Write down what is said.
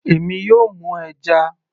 èmi yóò mú ẹja